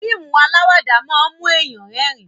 fíìmù alawada món mu èyán rérìn.